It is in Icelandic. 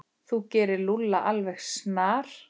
Þú gerir Lúlla alveg snar,